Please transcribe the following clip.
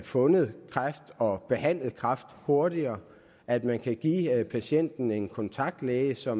fundet kræft og behandlet kræft hurtigere at man kan give patienten en kontaktlæge så